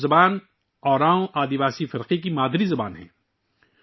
کڈکھ زبان اراؤں قبائلی برادری کی مادری زبان ہے